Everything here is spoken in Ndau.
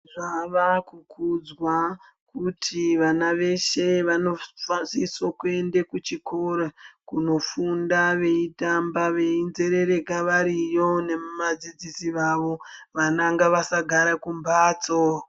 Zvavakukudzwa kuti vana veshe vanofasisa kuende kuchikoro kunofunda veitamba veizerereka variyo nemi vadzidzisi vavo. Vana ngavasagare kumbatso.